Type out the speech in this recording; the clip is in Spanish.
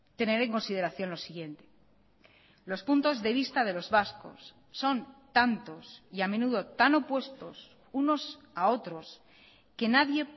tener en consideración lo siguiente los puntos de vista de los vascos son tantos y a menudo tan opuestos unos a otros que nadie